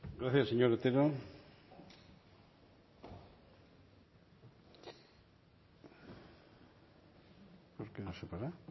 gracias señor otero